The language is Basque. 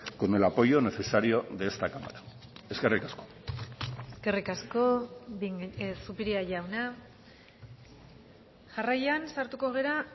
con el apoyo necesario de esta cámara eskerrik asko eskerrik asko zupiria jauna jarraian sartuko gara